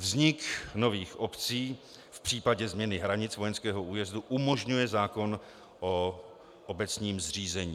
Vznik nových obcí v případě změny hranic vojenského újezdu umožňuje zákon o obecním zřízení.